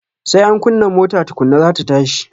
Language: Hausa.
Sai an kunna mota tukunna za ta tashi